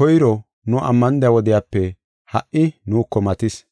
koyro nu ammanida wodiyape ha77i nuuko matis.